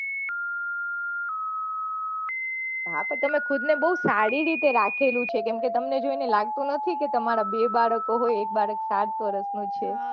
હા તો તમે ખુદ ને બહુ સારી રીતે રાખેલું છે કેમકે તમને છે ને લાગતું નથી તમારા બે બાળકો હોય એક બાળક પાંચ વર્ષ નો છે